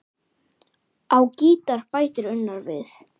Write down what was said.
Á gítar bætir Unnar við.